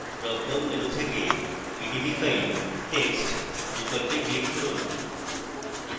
dropdown menu থেকে pdbfiletext বিকল্পে click from